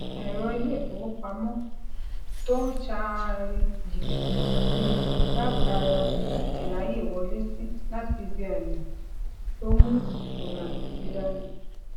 èrọ ileifowopamọ to n ṣaari jibiti kan si mi latara irayewọlesi lati ibi aimọ to mu ifurasi dani